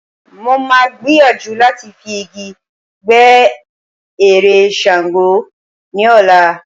Mo máa gbìyàjú láti fi igi gbẹ́ ère Ṣàngó ní ọ̀la.